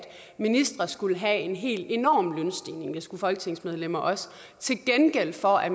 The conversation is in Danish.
ministre skulle have en helt enorm lønstigning og det skulle folketingsmedlemmer også til gengæld for at